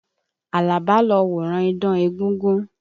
Àlàbá lo wòran idán egúngún.